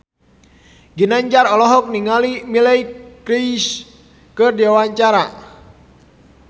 Ginanjar olohok ningali Miley Cyrus keur diwawancara